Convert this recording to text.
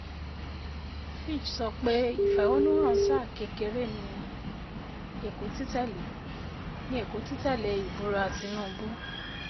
Fitch sọ pé ìfẹ̀hónúhàn sáà kékeré ní èkó titẹle ní èkó titẹ̀lé e ìbúra Tinúubú.